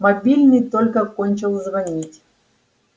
мобильный только кончил звонить